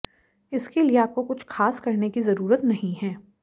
इसके लिए आपको कुछ खास करने की जरुरत नहीं है